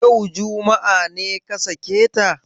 Yau, juma'a, ne ka sake ta?